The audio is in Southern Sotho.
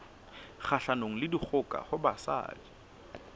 kgahlanong le dikgoka ho basadi